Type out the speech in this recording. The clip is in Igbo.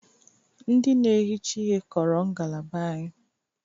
Ndị na-ehicha ihe kọrọ ngalaba anyị